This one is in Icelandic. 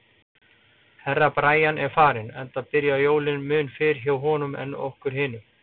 Herra Brian er farinn, enda byrja jólin mun fyrr hjá honum en okkur hinum.